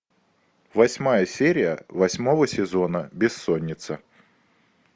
восьмая серия восьмого сезона бессонница